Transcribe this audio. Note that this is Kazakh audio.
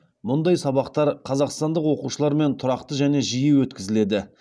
мұндай сабақтар қазақстандық оқушылармен тұрақты және жиі өткізіледі